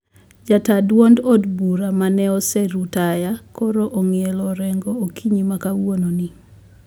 Jataa duondo od bura mane osedhi rutaya koro ong`ielo orengo okinyi ma kawuono ni